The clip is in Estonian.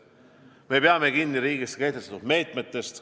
Me peame kinni riigis kehtestatud meetmetest.